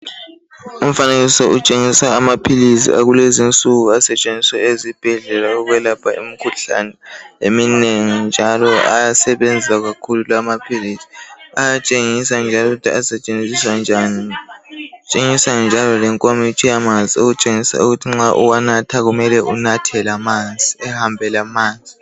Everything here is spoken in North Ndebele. Umfanekiso utshengisa amaphilisi akulezinsuku asetshenziswa ezibhedlela ukwelapha imikhuhlane eminengi njalo ayasebenza kakhulu lawa amaphilisi, ayatshengisa njalo ukuthi asetshenziswa njani kutshengiswa njalo lenkomitsho yamanzi okutshengisa ukuthi nxa uwanatha mele unathe lamanzi ehambe lamanzi